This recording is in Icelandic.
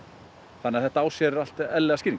þannig að þetta á sér allt eðlilegar skýringar